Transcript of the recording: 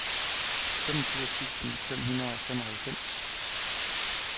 femogfirs tusind fem hundrede og femoghalvfems